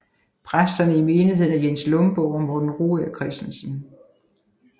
Præsterne i menigheden er Jens Lomborg og Morten Rugager Kristensen